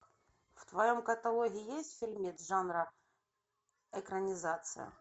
в твоем каталоге есть фильмец жанра экранизация